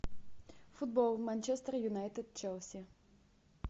футбол манчестер юнайтед челси